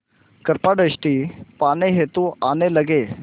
कृपा दृष्टि पाने हेतु आने लगे